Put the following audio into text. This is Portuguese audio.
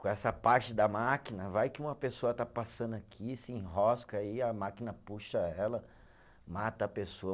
Com essa parte da máquina, vai que uma pessoa está passando aqui, se enrosca aí, a máquina puxa ela, mata a pessoa.